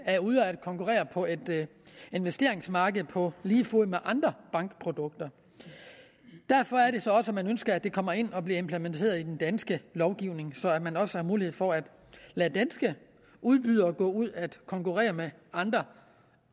er ude at konkurrere på et investeringsmarked på lige fod med andre bankprodukter derfor er det så også at man ønsker at det kommer ind og bliver implementeret i den danske lovgivning så man også har mulighed for at lade danske udbydere gå ud at konkurrere med andre